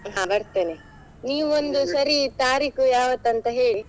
ಹಾ ಬರ್ತೇನೆ, ನೀವು ಸರಿ ತಾರೀಕು ಯಾವತ್ತು ಅಂತ ಹೇಳಿ .